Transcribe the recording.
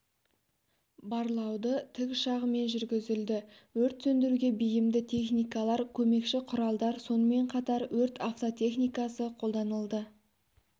барлауды тікұшағымен жүргізілді өрт сөндіруге бейімді техникалар көмекші құралдар сонымен қатар өрт автотехникасы қолданылды